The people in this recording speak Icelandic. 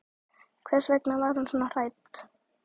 Hvers vegna var hún svona hrædd?